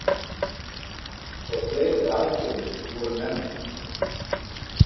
Og fleiri aðgerðir voru nefndar.